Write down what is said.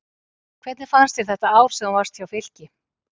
Hvernig fannst þér þetta ár sem þú varst hjá Fylki?